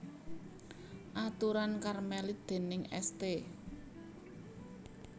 Aturan Karmelit déning St